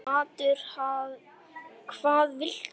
Matur: Hvað viltu?